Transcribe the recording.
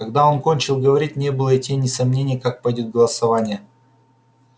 когда он кончил говорить не было и тени сомнения как пойдёт голосование